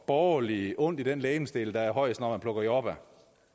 borgerlige ondt i den legemsdel der er højest når man plukker jordbær